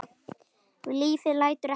Lífið lætur ekkert stoppa sig.